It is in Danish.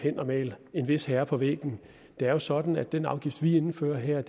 er at male en vis herre på væggen det er jo sådan at den afgift vi indfører her